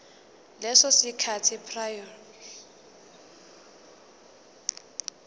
leso sikhathi prior